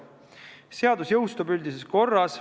Seadus jõustub üldises korras.